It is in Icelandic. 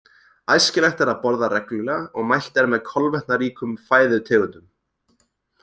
Æskilegt er að borða reglulega og mælt er með kolvetnaríkum fæðutegundum.